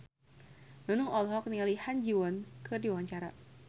Nunung olohok ningali Ha Ji Won keur diwawancara